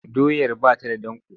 Doyar ba ta da danƙo.